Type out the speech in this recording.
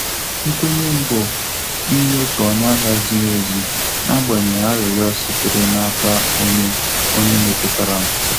Nkwenye m bụ ịnye otu ọnụahia ziri ezi, n'agbanyeghị arịrịọ sitere n' aka onye onye metụtara m.